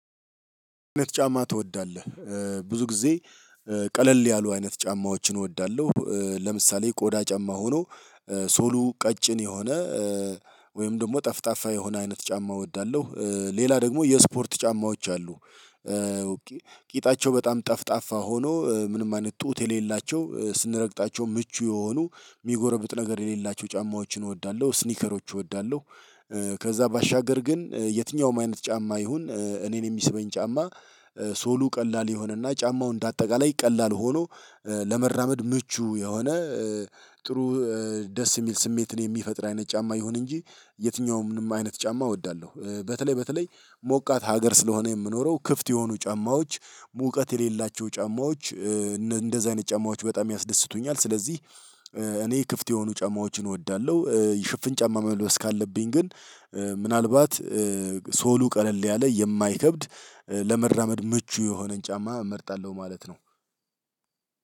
አይነት ጫማ ትወዳለህ ብዙ ጊዜ ቀለል ያሉ አይነት ጫማዎችን እወዳለሁ። ለምሳሌ ቆዳ ጫማ ሆኖ ሶሉ ቀጭን የሆነ ወይም ደግሞ ጠፍጣፋ የሆነ አይነት ጫማ እወዳለሁ። ሌላ ደግሞ የስፖርት ጫማዎች አሉ። ኦኬ ቂጣቸው በጣም ጠፍጣፋ ሆኖ ምንም አይነት ጡት የሌላቸው ስንረግጣቸው ምቹ የሆኑ የሚጎረብጥ ነገር የሌላቸው ጫማዎችን እወዳለሁ ስኒከሮች እወዳለሁ። ከዛ ባሻገር ግን የትኛውም አይነት ጫማ ይሁን እኔን የሚስበኝ ጫማ። ሶሉ ቀላል የሆነና ጫማው እንደ አጠቃላይ ቀላል ሆኖ ለመራመድ ምቹ የሆነ። ጥሩ ደስ የሚል ስሜትን የሚፈጥር አይነት ጫማ ይሁን እንጂ የትኛውምን አይነት ጫማ እወዳለሁ። በተለይ በተለይ ሞቃት ሀገር ስለሆነ የምኖረው ክፍት የሆኑ ጫማዎች ሙቀት የሌላቸው ጫማዎች እንደዚህ አይነት ጫማዎች በጣም ያስደስቱኛል። ስለዚህ እኔ ክፍት የሆኑ ጫማዎችን እወዳለሁ። ሽፍን ጫማ መልበስ ካለብኝ ግን ምናልባት ሶሉ ቀለል ያለ የማይከብድ ለመራመድ ምቹ የሆነን ጫማ እመርጣለሁ ማለት ነው።